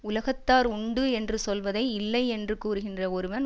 உலகத்தார் உண்டு என்று சொல்வதை இல்லை என்று கூறுகின்ற ஒருவன்